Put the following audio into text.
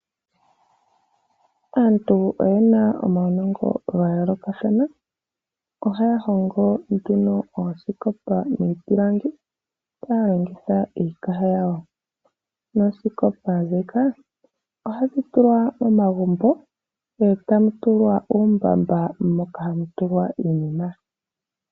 Aantu oye na omaunongo ga yoolokathana. Ohaya hongo nduno oosikopa dhiipilangi, taya longitha iikaha yawo, noosikopa ndhika ohadhi tulwa momagumbo, etamu tulwa uumbamba moka hamu tulwa iinima.